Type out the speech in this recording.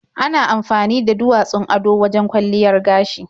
Ana amfani da duwatsun ado wajen kwalliyar gashi.